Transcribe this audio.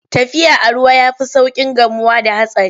Tafiya a ruwa ya fi sauƙin gamuwa da hatsari.